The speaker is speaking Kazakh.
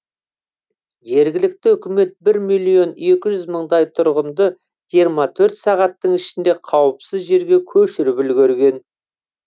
жергілікті үкімет бір миллион екі жүз мыңдай тұрғынды жиырма төрт сағаттың ішінде қауіпсіз жерге көшіріп үлгерген